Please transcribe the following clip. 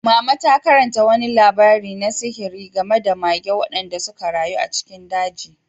Mama ta karanta wani labari na sihiri game da mage waɗanda suka rayu a cikin daji.